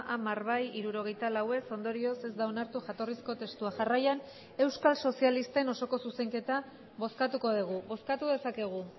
hamar bai hirurogeita lau ez ondorioz ez da onartu jatorrizko testua jarraian euskal sozialisten osoko zuzenketa bozkatuko dugu bozkatu dezakegu